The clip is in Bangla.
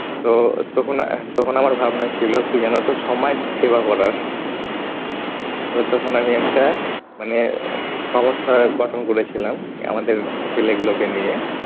তো তখন আমার ভাবনায় ছিল জানো তো সমাজসেবা করার, তো তখন আমি একটা মানে সংস্থা গঠন করেছিলাম আমাদের ছেলেগুলোকে নিয়ে